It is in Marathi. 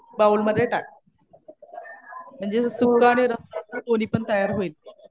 बाउल मध्ये टाक. म्हणजे सुकं आणि रस्सा असं दोन्ही पण तयार होईल.